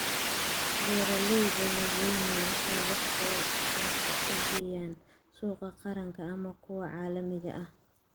Beeralayda waaweyni waxay wax soo saarka u geeyaan suuqa qaranka ama kuwa caalamiga ah.